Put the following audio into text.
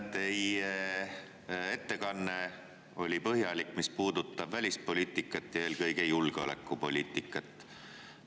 Teie ettekanne oli põhjalik ja puudutas välispoliitikat, eelkõige julgeolekupoliitikat.